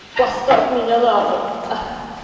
поставь меня на пол аа